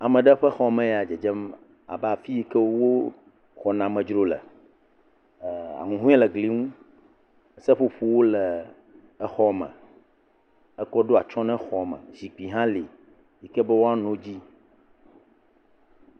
Ame ɖe ƒe xɔme ya le dzedzem abe afi si ke woxɔna amedzro le, ahuhɔe le gli ŋu, seƒoƒowo le exɔ me ekɔ ɖo atsyɔ̃ na xɔ me zikpuiwo hã li si ke woanɔ edzi.